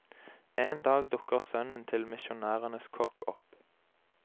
En dag dukker sønnen til misjonærenes kokk opp.